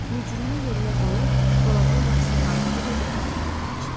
Mücrünü yerinə qoyub, dolabın qapısını bağladı və yataq otağına keçdi.